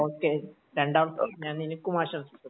okay രണ്ടാം ഞാൻ നിനക്കും ആശംസിക്കുന്നു